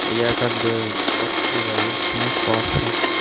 я как бы чётко говорю муфаса